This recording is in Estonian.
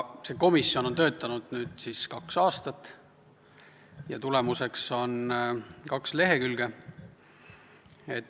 See komisjon on töötanud kaks aastat ja tulemuseks on kaks lehekülge.